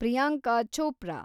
Priyanka Chopra